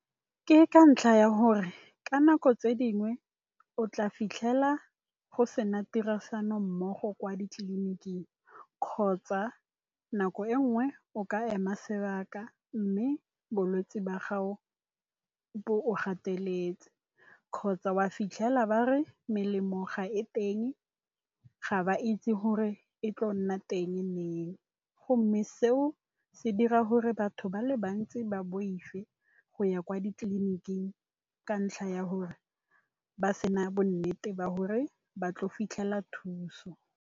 Ke ka ntlha ya gore ka nako tse dingwe o tla fitlhela go sena tirisano mmogo kwa ditleliniking, kgotsa nako e nngwe o ka ema sebaka, mme bolwetse ba gago bo go gateletse kgotsa wa fitlhela ba re melemo ga e teng, ga ba itse gore e tlile go nna teng leng, mme seo se dira gore batho ba le bantsi ba boife go ya kwa ditleliniking ka ntlha ya gore ba sena bonnete ba gore ba tla fitlhela thuso.